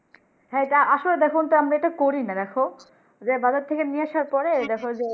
হ্যাঁ আসলে দেখো আনতে করি না দেখো বাজার থেকে নিয়ে আসার পরে দেখ যে